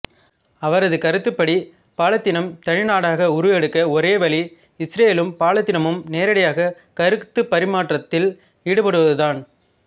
அவரது கருத்துப்படி பாலத்தீனம் தனி நாடாக உருவெடுக்க ஒரே வழி இசுரயேலும் பாலத்தீனமும் நேரடி கருத்துப் பரிமாற்றத்தில் ஈடுபடுவதுதான்